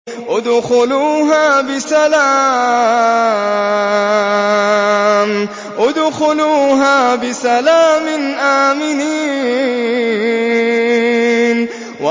ادْخُلُوهَا بِسَلَامٍ آمِنِينَ